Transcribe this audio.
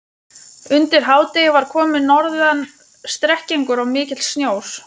Undir hádegi var kominn norðan strekkingur og mikill sjór.